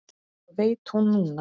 Það veit hún núna.